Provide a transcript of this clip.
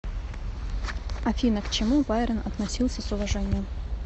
афина к чему байрон относился с уважением